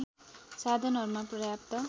साधनहरूमा पर्याप्त